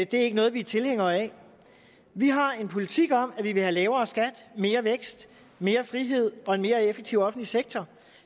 det er ikke noget vi er tilhængere af vi har en politik om at vi vil have lavere skat mere vækst mere frihed og en mere effektiv offentlig sektor